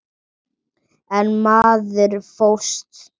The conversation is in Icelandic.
Einn maður fórst.